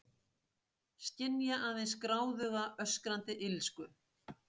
Skynja aðeins gráðuga, öskrandi illsku.